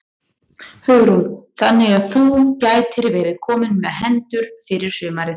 Hugrún: Þannig að þú gætir verið kominn með hendur fyrir sumarið?